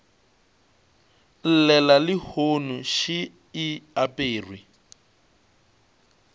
llela lehono še e aperwe